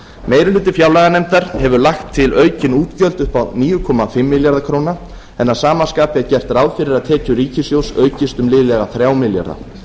meiri hluti fjárlaganefndar hefur lagt til aukin útgjöld upp á níu komma fimm milljarða króna en að sam skapi er gert ráð fyrir að tekjur ríkissjóðs aukist um liðlega þrjá milljarða